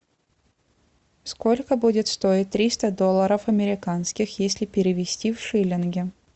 сколько будет стоить триста долларов американских если перевести в шиллинги